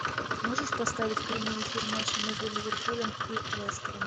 можешь поставить прямой эфир матча между ливерпулем и лестером